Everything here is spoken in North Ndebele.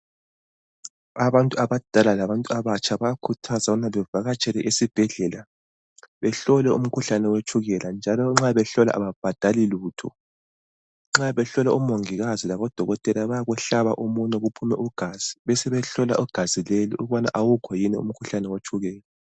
Abantu abadala labantu abatsha bayakhuthazwa ukubana bavakatshele esibhedlela behlolwe umkhuhlane wetshukela njalo nxa behlolwa ababhadali lutho nxa behlolwa omongikazi labodokotela bayakuhlaba umunwe kuphume ugazi besebehlola igazi lelo ukubana awukho yini umkhuhlane wetshukela.